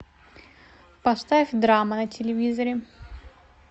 поставь драма на телевизоре